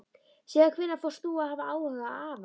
Síðan hvenær fórst þú að hafa áhuga á afa?